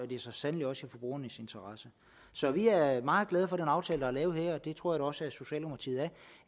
det er så sandelig også i forbrugernes interesse så vi er er meget glade for den aftale der er lavet her og det tror jeg da også socialdemokratiet er